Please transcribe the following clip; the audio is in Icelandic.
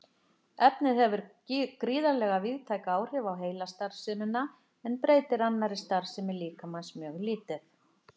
Efnið hefur gríðarlega víðtæk áhrif á heilastarfsemina en breytir annarri starfsemi líkamans mjög lítið.